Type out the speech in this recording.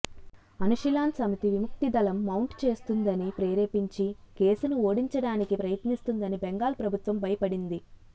అనుషిలాన్ సమితి విముక్తి దళం మౌంట్ చేస్తుందని ప్రేరేపించి కేసును ఓడించడానికి ప్రయత్నిస్తుందని బెంగాల్ ప్రభుత్వం భయపడింది